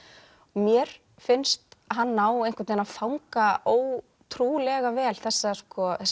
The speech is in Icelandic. mér finnst hann ná að fanga ótrúlega vel þessa